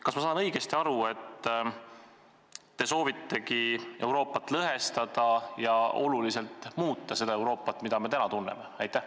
Kas ma saan õigesti aru, et te soovitegi Euroopat lõhestada ja oluliselt muuta seda Euroopat, mida me täna tunneme?